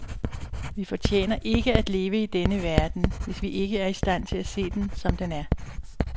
Vi fortjener ikke at leve i denne verden, hvis vi ikke er i stand til at se den, som den er.